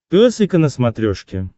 пес и ко на смотрешке